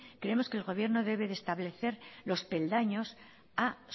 creemos que el gobierno debe de establecer los peldaños a